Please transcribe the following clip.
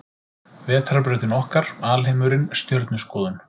Vetrarbrautin okkar Alheimurinn Stjörnuskoðun.